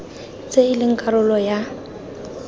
tse e leng karolo ya